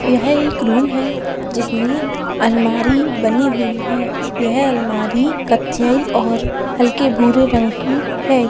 यह एक रूम है जिसमें अलमारी बनी हुई है यह अलमारी कत्‍थई और हल्के भूरे रंग की है।